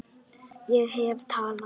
Ég hef talað.